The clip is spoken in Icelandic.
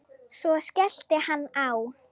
Svo skellti hann á.